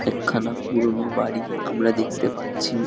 একখানা পুরনো বাড়ি আমরা দেখতে পারছি |